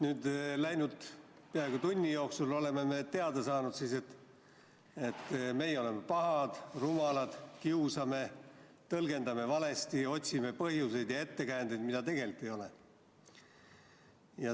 Nüüd oleme peaaegu tunni jooksul teada saanud, et meie oleme pahad, rumalad, kiusame, tõlgendame valesti, otsime põhjuseid ja ettekäändeid, mida tegelikult ei ole.